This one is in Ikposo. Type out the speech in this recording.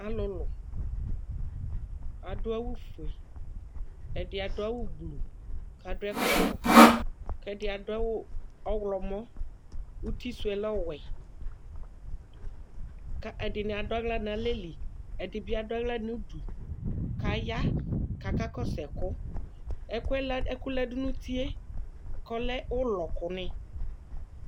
Alʋlʋ, adʋ awʋfue, ɛdɩ adʋ awʋgblu kʋ adʋ ɛkɔtɔ kʋ ɛdɩ adʋ awʋ ɔɣlɔmɔ, uti sʋ yɛ lɛ ɔwɛ kʋ ɛdɩnɩ adʋ aɣla nʋ alɛ li, ɛdɩ bɩ adʋ aɣla nʋ udu kʋ aya kʋ akakɔsʋ ɛkʋ Ɛkʋ yɛ lɛ ɛkʋ la dʋ nʋ uti yɛ kʋ ɔlɛ ʋlɔ kʋnɩ